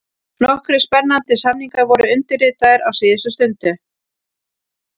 Nokkrir spennandi samningar voru undirritaðir á síðustu stundu: